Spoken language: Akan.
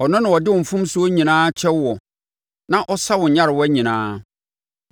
ɔno na ɔde wo mfomsoɔ nyinaa kyɛ woɔ na ɔsa wo nyarewa nyinaa,